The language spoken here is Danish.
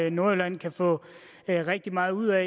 i nordjylland kan få rigtig meget ud af